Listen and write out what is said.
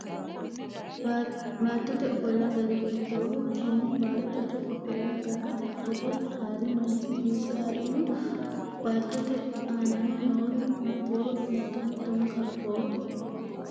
Baattote ofolla gari hiittoho? Tenne baattote ofolla gara foto haari manchi hiisse haarino? Baattote aano noori maatiro mitto mittonka afoo?